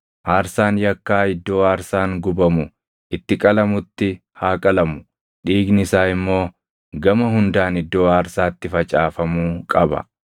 Aarsaan yakkaa iddoo aarsaan gubamu itti qalamutti haa qalamu; dhiigni isaa immoo gama hundaan iddoo aarsaatti facaafamuu qaba.